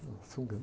É uma sunga, né?